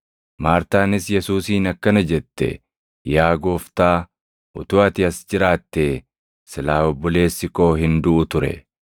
Maartaanis Yesuusiin akkana jette; “Yaa Gooftaa, utuu ati as jiraattee silaa obboleessi koo hin duʼu ture.